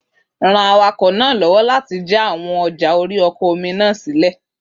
Ran awakọ̀ náà lọ́wọ́ láti jà àwọn ọjà ori ọkọ̀ orí-omi náà sílẹ̀